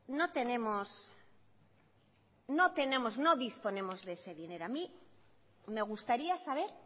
no disponemos de ese dinero a mí me gustaría saber